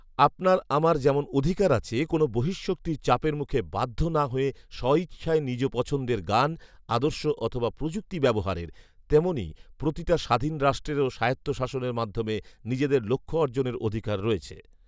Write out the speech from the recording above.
আপনার আমার যেমন অধিকার আছে কোন বহিঃশক্তির চাপের মুখে বাধ্য না হয়ে স্ব ইচ্ছায় নিজ পছন্দের গান, আদর্শ অথবা প্রযুক্তি ব্যবহারের, তেমনই প্রতিটা স্বাধীন রাষ্ট্রেরও স্বায়ত্তশাসনের মাধ্যমে নিজেদের লক্ষ্য অর্জনের অধিকার রয়েছে